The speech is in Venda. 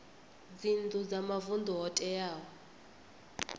dzinnu dza mavunu ho teaho